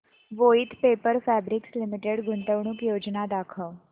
Voith paper fabrics limited गुंतवणूक योजना दाखव